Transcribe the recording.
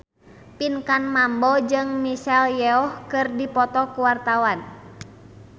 Pinkan Mambo jeung Michelle Yeoh keur dipoto ku wartawan